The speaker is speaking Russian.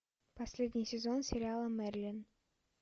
последний сезон сериала мерлин